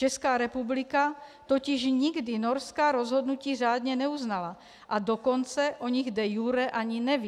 Česká republika totiž nikdy norská rozhodnutí řádně neuznala, a dokonce o nich de iure ani neví.